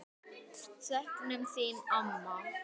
Söknum þín, amma.